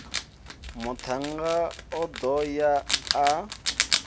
muthannga o do ya a